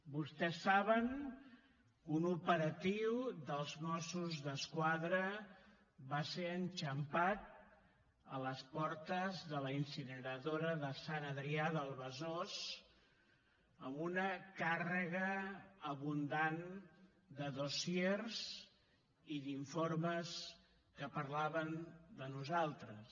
vostès saben que un operatiu dels mossos d’esquadra va ser enxampat a les portes de la incineradora de sant adrià de besòs amb una càrrega abundant de dossiers i d’informes que parlaven de nosaltres